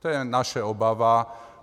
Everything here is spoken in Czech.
To je naše obava.